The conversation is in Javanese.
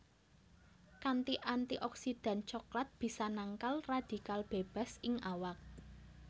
Kanthi antioksidan coklat bisa nangkal radikal bebas ing awak